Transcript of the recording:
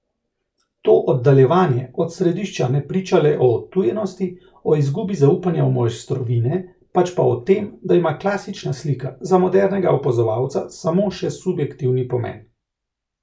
To oddaljevanje od središča ne priča le o odtujenosti, o izgubi zaupanja v mojstrovine, pač pa o tem, da ima klasična slika za modernega opazovalca samo še subjektivni pomen.